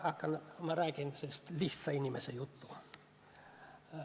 Ma räägin sellist lihtsa inimese juttu.